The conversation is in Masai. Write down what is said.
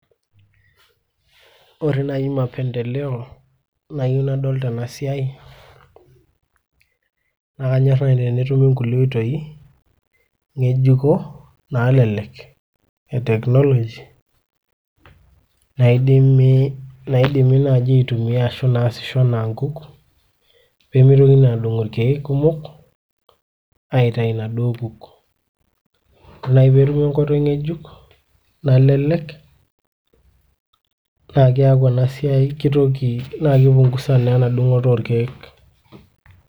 Ore naaji mapendeleo nayieu nadol tenasiai naa kanyorr naaji tenetumi nkulie oitoi ng'ejuko naalelek e Technology naidimi naaji aitumia ashu naasisho anaa nkuk peemeitokini adung' ilkeek kumok aitayu inaduo kuk. Ore naaji peetumi enkoitoi ng'ejuk nalelek naa keeku enasiai keitoki naa kipungusa naa enadung'oto olkeek.